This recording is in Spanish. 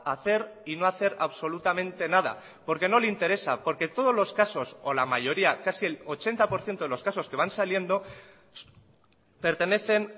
a hacer y no hacer absolutamente nada porque no le interesa porque todos los casos o la mayoría casi el ochenta por ciento de los casos que van saliendo pertenecen